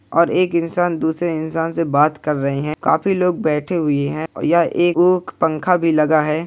और एक इंसान दूसरे इंसान से बात कर रहें हैं। काफी लोग बैठे हुए हैं। यह पंखा भी लगा है।